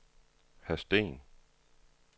Hadsten